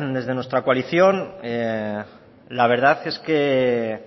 desde nuestra coalición la verdad es que